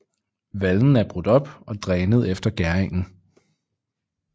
Vallen er brudt op og drænet efter gæringen